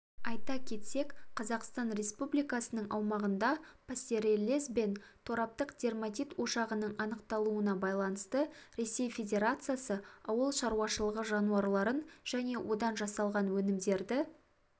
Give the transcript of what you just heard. айта кетсек қазақстан республикасының аумағында пастереллез бен тораптық дерматит ошағының анықталуына байланысты ресей федерациясы ауыл шаруашылығы жануарларын және одан жасалған өнімдерді